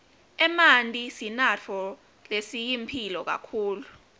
emanti sinatfo lesiyimphilo kakhulu